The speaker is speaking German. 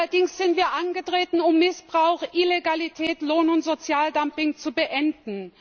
Allerdings sind wir angetreten, um Missbrauch, Illegalität, Lohn und Sozialdumping zu beenden.